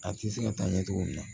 A tɛ se ka taa ɲɛ cogo min na